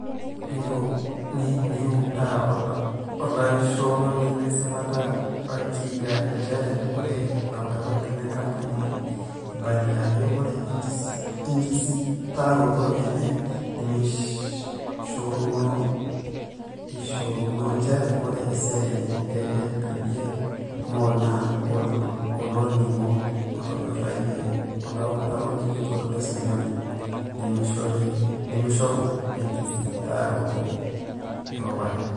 Neuta olaishoroni le sipata Wakiaga njere ore lautarok le nkampuni eibalia ajoo ore enkisitaroto enye nemeishoruno eishoruno njere ore esiai enye e LBDA Mall naa oloning'o ootonyorayia olautaroni kitok le sirkali nemeishoru enkisitaaroto eropare.